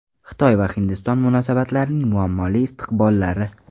Xitoy va Hindiston munosabatlarining muammoli istiqbollari.